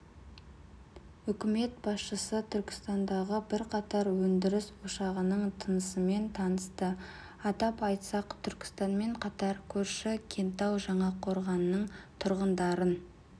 үкімет басшысы түркістандағы бірқатар өндіріс ошағының тынысымен танысты атап айтсақ түркістанмен қатар көрші кентау жаңақорғанның тұрғындарын